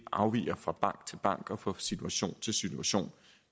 afviger fra bank til bank og fra situation til situation